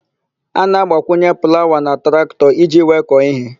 A na-agbakwunye plawa na traktọ iji wee kọọ íhé.